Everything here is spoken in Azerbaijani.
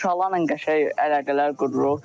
Uşaqlarla qəşəng əlaqələr qururuq.